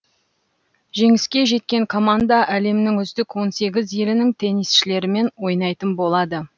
жеңіске жеткен команда әлемнің үздік он сегіз елінің теннисшілерімен ойнайтын болады